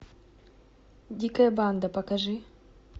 дикая банда покажи